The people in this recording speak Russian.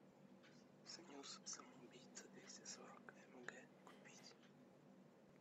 снюс самоубийца двести сорок мг купить